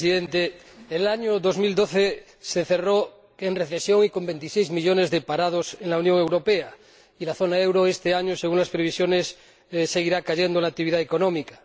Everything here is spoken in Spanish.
Señor Presidente, el año 2012 se cerró en recesión y con veintiséis millones de parados en la Unión Europea, y en la zona del euro, este año, según las previsiones, seguirá cayendo la actividad económica.